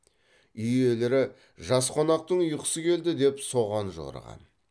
үй иелері жас қонақтың ұйқысы келді деп соған жорыған